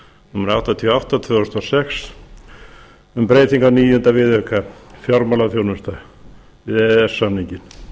númer áttatíu og átta tvö þúsund og sex um breytingu á níunda viðauka fjármálaþjónusta við e e s samninginn